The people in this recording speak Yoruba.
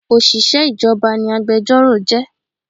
Òṣìṣẹ́ ìjọba ni agbẹjọ́rò jẹ́